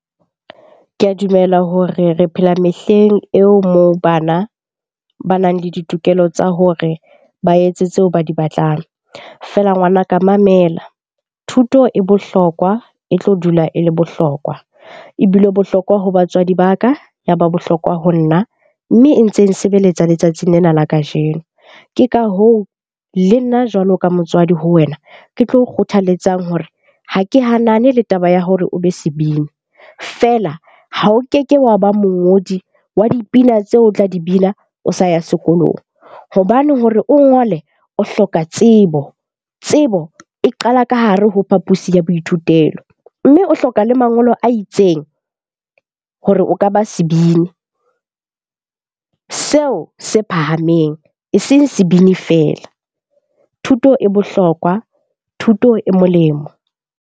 Ke a dumela hore re phela mehleng eo moo bana banang le ditokelo tsa hore ba etse tseo ba di batlang. Feela ngwanaka mamela, thuto e bohlokwa e tlo dula e le bohlokwa. Ebile bohlokwa ho batswadi ba ka, ya ba bohlokwa ho nna. Mme e ntse e nsebeletsa letsatsing lena la kajeno. Ke ka hoo le nna jwalo ka motswadi ho wena, ke tlo o kgothaletsang hore ha ke hanane le taba ya hore o be sebini. Feela ha o keke wa ba mongodi wa dipina tseo tla di bina o sa ya sekolong. Hobane hore o ngole, o hloka tsebo. Tsebo e qala ka hare ho phapusi ya boithutelo, mme o hloka le mangolo a itseng hore o ka ba sebini seo se phahameng eseng sebini feela. Thuto e bohlokwa, thuto e molemo.